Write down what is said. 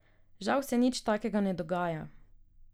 Žal se nič takega ne dogaja.